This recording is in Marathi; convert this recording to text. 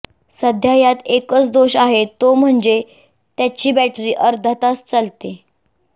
सध्या यात एकच दोष आहे तो म्हणजे त्याची बॅटरी अर्धा तास चालते